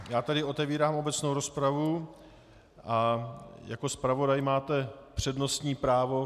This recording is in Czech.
Já tedy otevírám obecnou rozpravu a jako zpravodaj máte přednostní právo.